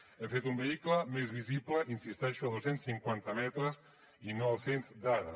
hem fet un vehicle més visible hi insisteixo a dos cents i cinquanta metres i no als cent d’ara